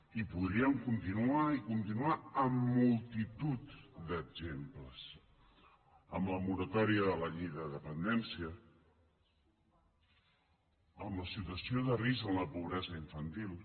i podríem continuar i continuar amb multitud d’exemples amb la moratòria de la llei de dependència amb la situació de risc en la pobresa infantil